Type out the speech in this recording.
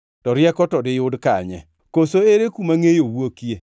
“To rieko to diyud kanye? Koso ere kuma ngʼeyo wuokie?